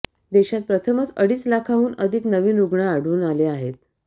देशात प्रथमच अडीच लाखाहून अधिक नवीन रुग्ण आढळून आले आहेत